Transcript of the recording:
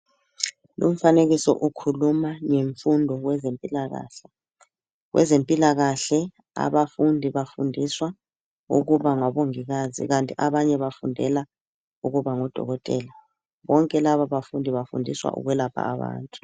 Lumfanekiso ukhuluma ngemfundo kwezempilakahle. Kwezempilakahle abafundi bafundiswa ukuba ngabongikazi kanti abanye bafundela ukuba ngodokotela. Bonke laba bafundi bafundiswa ukulapha abantu.